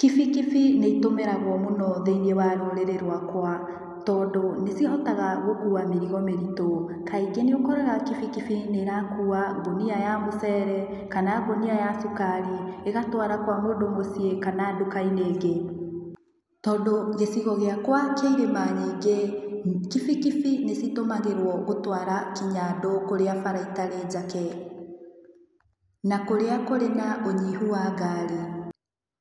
Kibikibi nĩ itũmĩragwo mũno thĩinĩ wa rũrĩrĩ rwakwa, tondũ, nĩ cihotaga gũkuwa mĩrigo mĩritũ. Kaingĩ nĩ ũkoraga kibikibi nĩ ĩrakuwa ngũnia ya mũcere, kana ngũnia ya cukari, ĩgatwara kwa mũndũ mũciĩ kana nduka-inĩ ĩngĩ. Tondũ gĩcigo gĩakwa kĩ irĩma nyingĩ, kibikibi nĩ citumagĩrwo gũtwara kinya andũ kũrĩa bara itarĩ njake, na kũrĩa kũrĩ na ũnyihu wa ngari.